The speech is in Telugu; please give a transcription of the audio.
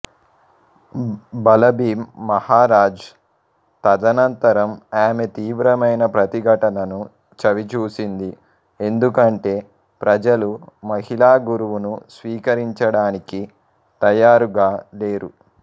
బలభీమ్ మహరాజ్ తదనంతరం ఆమె తీవ్రమైన ప్రతిఘటనను చవిచూసింది ఎందుకంటే ప్రజలు మహిళా గురువును స్వీకరించడానికి తయారుగా లేరు